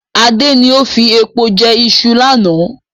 Adé ni ó fi epo jẹ ìṣù lánà